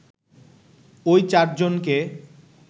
ওই চারজনকে